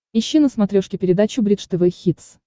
ищи на смотрешке передачу бридж тв хитс